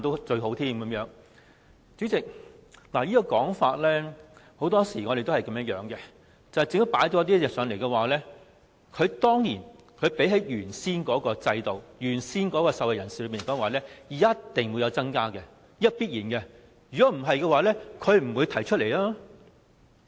代理主席，對於這個說法，很多時我們都會這樣想，政府提出的議案一定會比原先的制度好、受惠人數一定較原先的多，這是必然的，否則政府亦不會提出來。